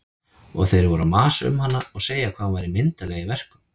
Og þeir voru að masa um hana og segja hvað hún væri myndarleg í verkum.